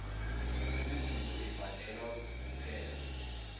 imivuzo ibhadelwa kuphela